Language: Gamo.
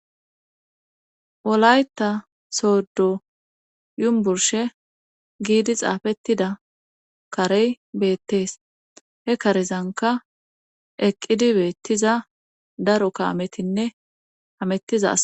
Wolayta soddo yunberstte giidi xaafettida karey beettees he karezanka eqqidi beettiza daro kaametinne hamettizaas